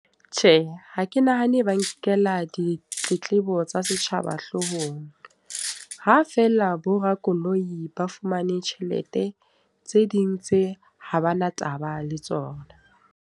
Tjhe, ha ke nahane ba nkela ditletlebo tsa setjhaba hloohong. Ha feela bo ramakoloi ba fumane tjhelete. Tse ding tse ha bana taba le tsona.